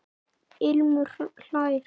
Ilmur hlær.